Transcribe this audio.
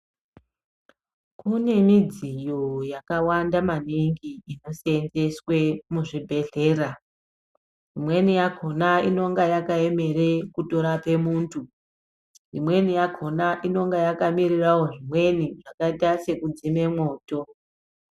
Kune midziyo yakawanda maningi inoseenzeswe muzvibhedhlera, imweni yakona inonga yakayemera kutorape muntu, imweni yakona inonga yakamirirawo zvimweni zvakayita sekudzime mwoto.